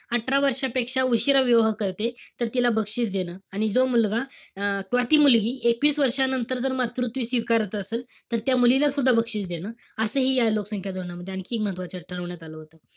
अठरा वर्षांपेक्षा उशिरा विवाह करतील, तर तिला बक्षीस देणं. आणि जो मुलगा अं किंवा ती मुलगी एकवीस वर्षानंतर जर मातृत्व स्वीकारत असेल, तर त्या मुलीला सुद्धा बक्षीस देणं. असंही या लोकसंख्या धोरणामध्ये आणखी एक महत्वाचं ठरवण्यात आलं होतं.